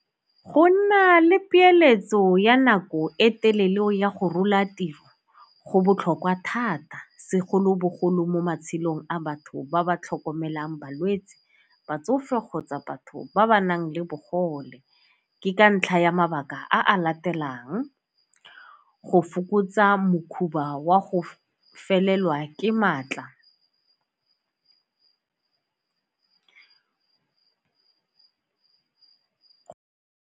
Go nna le peeletso ya nako e telele go ya go rola tiro go botlhokwa thata segolobogolo mo matshelong a batho ba ba tlhokomelang balwetsi, batsofe kgotsa batho ba ba nang le bogole ke ka ntlha ya mabaka a latelang, go fokotsa wa go felelwa ke maatla.